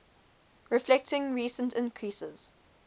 reflecting recent increases